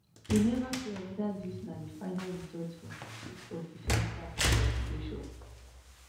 e neva clear weda dis na di final result from di chief of defence staff investigation